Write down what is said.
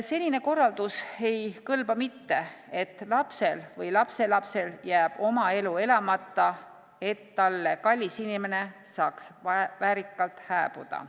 Senine korraldus ei kõlba, et lapsel või lapselapsel jääb oma elu elamata, et talle kallis inimene saaks väärikalt hääbuda.